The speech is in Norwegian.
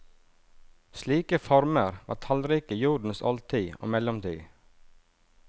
Slike former var tallrike i jordens oldtid og mellomtid.